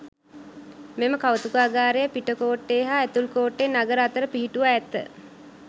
මෙම කෞතුකාගාරය පිටකෝට්ටේ හා ඇතුල්කෝට්ටේ නගර අතර පිහිටුවා ඇත.